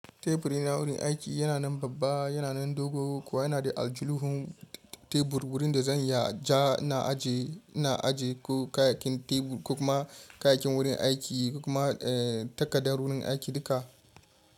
Tebur na wurin aiki yana nan babba, yana nan dogo kuwa yana da aljuhuhun tebur wurin da zan ja na ajiye kayayyakin tebur da kuma kayayyakin wurin aiki da kuma takardar wurin aiki duka.